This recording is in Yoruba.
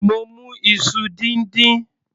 Mo mu iṣu díndín.